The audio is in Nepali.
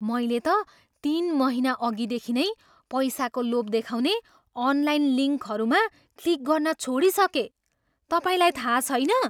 मैले त तिन महिनाअघि देखि नै पैसाको लोभ देखाउने अनलाइन लिङ्कहरूमा क्लिक गर्न छोडिसकेँ। तपाईँलाई थाहा छैन?